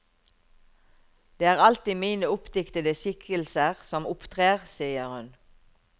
Det er alltid mine oppdiktede skikkelser som opptrer, sier hun.